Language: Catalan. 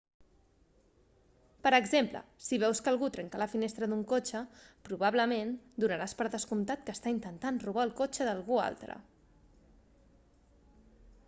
per exemple si veus que algú trenca la finestra d'un cotxe probablement donaràs per descomptat que està intentant robar el cotxe d'algú altre